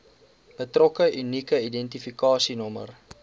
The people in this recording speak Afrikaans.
betrokke unieke identifikasienommer